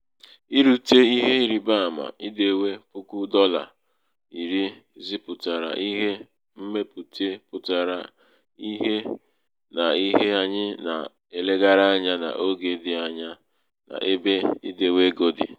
irūtē ihe ịrị̀baamā idewe puku dọlà iri zipùtàrà ihe mmepùte pụtara ìhè n’ihe anyị nà-elegara anya n’ogē dị̄ anya n’ebe idēwē ego dị̀